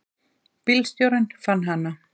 Bílstjórinn fann hana.